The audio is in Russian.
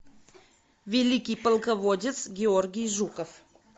великий полководец георгий жуков